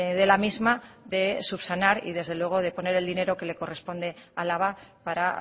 de la misma de subsanar y desde luego de poner el dinero que le corresponde a álava para